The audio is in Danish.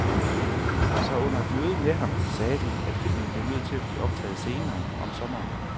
Så under et møde med ham sagde de, at filmen blev nødt til at blive optaget senere, om sommeren.